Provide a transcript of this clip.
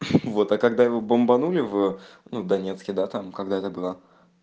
вот а когда его бомбанули в ну донецке да там когда это было